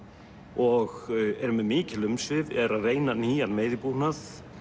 og eru með mikil umsvif eru að reyna nýjan veiðibúnað